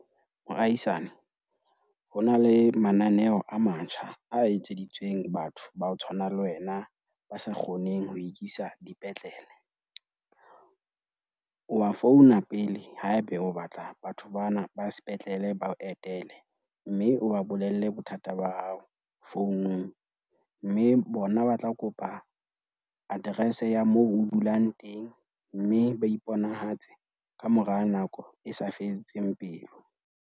Moahisane, ho na le mananeo a matjha a etseditsweng batho ba ho tshwana le wena ba sa kgoneng ho ikisa dipetlele. O a founa pele haeba o batla batho bana ba sepetlele ba o etele. Mme o ba bolelle bothata ba hao founung mme bona ba tla kopa address ya moo o dulang teng. Mme ba iponahatse kamora nako e sa fediseng pelo.